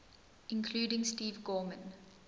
including steve gorman